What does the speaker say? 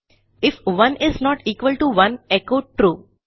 if 1 is not equal to 1 echo true